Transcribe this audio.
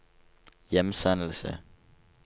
hjemsendelse